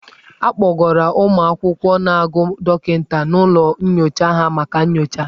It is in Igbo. A kpọgara ụmụ akwụkwọ na-agụ dọkịta n'ụlọ nyocha ha maka nyocha.